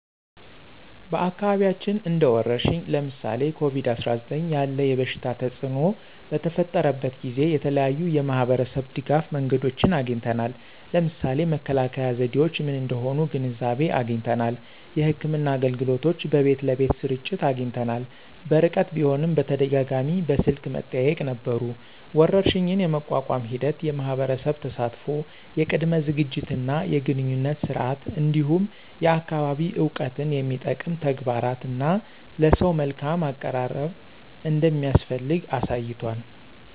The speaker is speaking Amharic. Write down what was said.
በአካባቢያችን እንደ ወረርሽኝ (ለምሳሌ ኮቪድ-19) ያለ የበሽታ ተፅእኖ በተፈጠረበት ጊዜ የተለያዩ የማህበረሰብ ድጋፍ መንገዶችን አግኝተናል። ለምሳሌ መከላከያ ዘዴዎች ምን እንደሆኑ ግንዛቤ አግኝተናል። የሕክምና አገልግሎቶች በቤት ለቤት ስርጭት አግኝተናል። በርቀት ቢሆንም በተደጋጋሚ በስልክ መጠያየቅ ነበሩ። ወረርሽኝን የመቋቋም ሂደት የማህበረሰብ ተሳትፎ፣ የቅድመ ዝግጅት እና የግንኙነት ስርዓት፣ እንዲሁም የአካባቢ እውቀትን የሚጠቅም ተግባራት እና ለሰው መልካም አቀራረብ እንደሚያስፈልግ አሳይቷል።